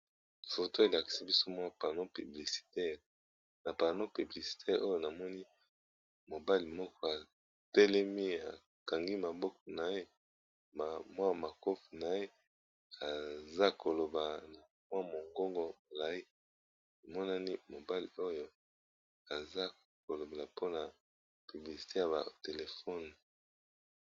Foto elakisi biso mwa pano publicitaire na pano publicitaire oyo namoni mobali moko atelemi akangi maboko na ye ma mwa makofi na ye aza koloba na mwa mongongo naye emonani mobali oyo aza kolobela mpona publicité ya ba telefone.